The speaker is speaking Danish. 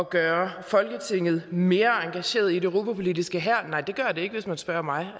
gøre folketinget mere engageret i det europapolitiske stopper her nej det gør det ikke hvis man spørger mig